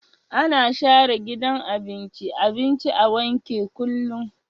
Ana share gidan abinci abinci a wanke kullum